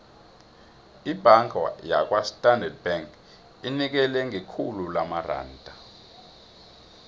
ibhanga yakwastandard bank inikela ngekhulu lamaranda